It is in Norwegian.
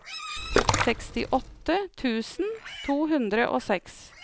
sekstiåtte tusen to hundre og seks